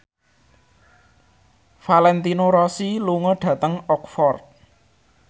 Valentino Rossi lunga dhateng Oxford